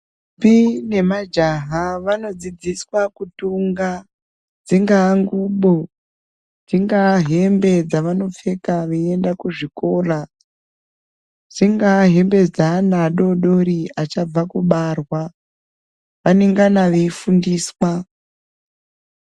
Ndombi nemajaha vanodzidziswa kutunga, dzingaa ngxubo, dzingaa hembe dzavanopfeka veienda kuzvikora, dzingaa, hambe dzeana adodori achabva kubarwa, vanengana veifundiswa.